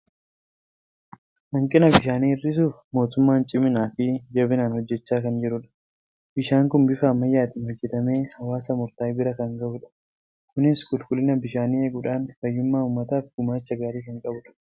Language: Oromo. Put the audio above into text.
Hanqina bishaanii hir'isuuf mootummaan ciminaa fi jabinaan hojjechaa kan jirudha. Bishaan kun bifa ammayyaatiin hojjetamee hawwaasa murtaa'e bira kan gahudha. Kunis qulqullina bishaanii eeguudhaan fayyummaa uummataaf gumaacha gaariii kan qabudha.